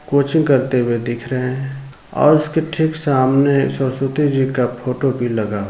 coaching करते हुऐ दिख रहे हैं और उसके ठीक सामने सरस्वती जी का फोटो भी लगा --